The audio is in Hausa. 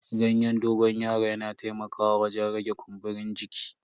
Ganyen dogon yaron yana taimakawa wajen rage kumburin jiki.